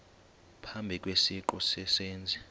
phambi kwesiqu sezenzi